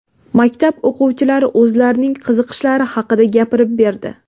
Maktab o‘quvchilari o‘zlarining qiziqishlari haqida gapirib berdi.